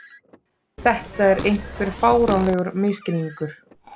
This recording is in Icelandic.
Þetta er einhver fáránlegur misskilningur.